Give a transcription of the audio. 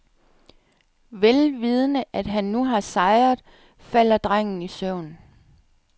Vel vidende at han nu har sejret, falder drengen i søvn.